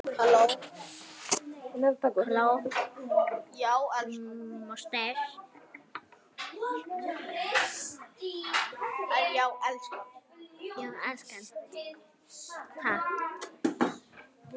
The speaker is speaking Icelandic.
Jú, elskan.